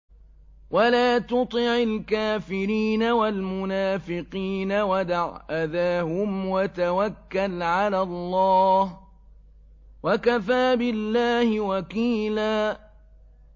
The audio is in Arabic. وَلَا تُطِعِ الْكَافِرِينَ وَالْمُنَافِقِينَ وَدَعْ أَذَاهُمْ وَتَوَكَّلْ عَلَى اللَّهِ ۚ وَكَفَىٰ بِاللَّهِ وَكِيلًا